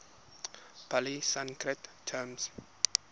pali sanskrit term